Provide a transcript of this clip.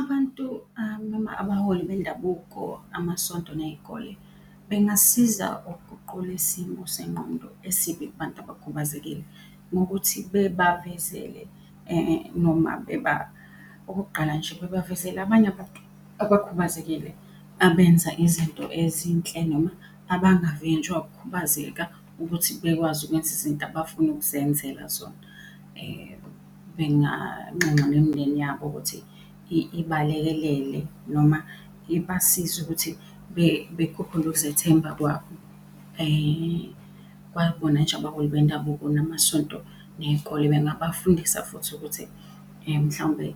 Abantu, Abaholi bendabuko, amasonto ney'kole bengasiza ukuguqula isimo sengqondo esibi kubantu abakhubazekile ngokuthi bebavezele noma , okokuqala nje bebavezele abanye abantu abakhubazekile abenza izinto ezinhle noma abangavinjwa ukukhubazeka ukuthi bekwazi ukwenza izinto abafuna ukuzenzela zona. Benganxenxa nemindeni yabo ukuthi ibalekele noma iba size ukuthi bekhuphule ukuzethemba kwabo. Kwabona nje abaholi bendabuko, namasonto, ney'kole bengabafundisa futhi ukuthi mhlawumbe